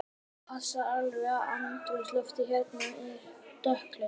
Þú passar alveg í andrúmsloftið hérna, svona dökkklæddur.